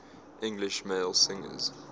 english male singers